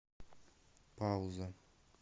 пауза